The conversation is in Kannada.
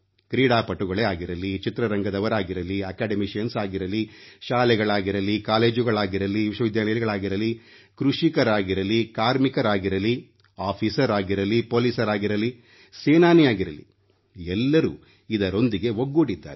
ಕ್ರೀಡಾಪಟುಗಳೇ ಆಗಿರಲಿ ಚಿತ್ರರಂಗದವರಾಗಲಿ ಶಿಕ್ಷಣರಂಗದವರೇ ಆಗಿರಲಿ ಶಾಲೆಗಳಾಗಿರಲಿ ಕಾಲೇಜುಗಳಾಗಿರಲಿ ವಿಶ್ವವಿದ್ಯಾಲಯಗಳಾಗಿರಲಿ ಕೃಷಿಕರಾಗಿರಲಿ ಕಾರ್ಮಿಕರಾಗಿರಲಿ ಅಧಿಕಾರಿ ಆಗಿರಲಿ ಪೊಲೀಸರಾಗಿರಲಿ ಸೇನಾನಿಯಾಗಿರಲಿ ಎಲ್ಲರೂ ಇದರೊಂದಿಗೆ ಒಗ್ಗೂಡಿದ್ದಾರೆ